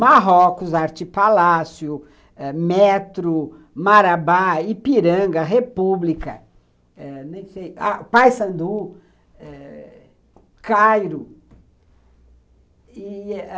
Marrocos, Arte Palácio, Metro, Marabá, Ipiranga, República, nem sei, Paissandu, Cairo.